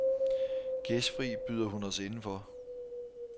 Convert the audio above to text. Gæstfri byder hun os indenfor.